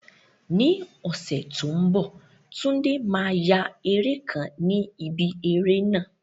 Ní ọ̀sẹ̀ tó ń bọ̀, Tunde máa ya eré kan ni ibi eré náà.